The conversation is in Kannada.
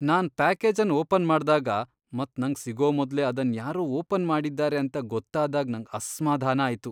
ನಾನ್ ಪ್ಯಾಕೇಜನ್ ಓಪನ್ ಮಾಡ್ದಾಗ ಮತ್ ನಂಗ್ ಸಿಗೋ ಮೊದ್ಲೇ ಅದನ್ ಯಾರೋ ಓಪನ್ ಮಾಡಿದ್ದಾರೆ ಅಂತ ಗೊತ್ತಾದಾಗ್ ನಂಗ್ ಅಸ್ಮಾಧಾನ ಆಯ್ತು.